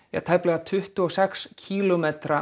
tæplega tuttugu og sex kílómetra